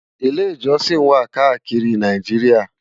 Ilè-ijòsin wá kàákiri Náijiriá